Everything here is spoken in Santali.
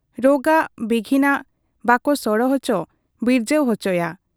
ᱨᱚᱜᱟᱜ ᱵᱤᱜᱷᱤᱱᱟᱜ ᱵᱟᱠᱚ ᱥᱚᱲᱚ ᱚᱪᱚ ᱵᱤᱨᱡᱟᱹᱣ ᱚᱪᱚᱣᱟᱜ ᱟ ᱾